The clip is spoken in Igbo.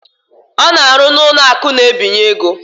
Ọ na-arụ n'ụlọakụ na-ebinye ego